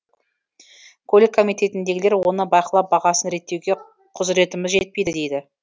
көлік комитетіндегілер оны бақылап бағасын реттеуге құзыретіміз жетпейді дейді